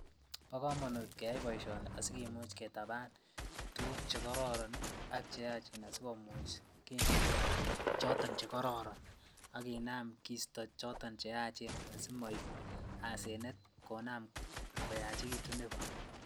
Bokomonut keyai boishoni asikomuch kitaban tukuk chekororon ak cheyachen asikomuch kenyor choton chekororon ak kinam kisto choton cheachen asimoib asenet konam koyachekitun ikoo.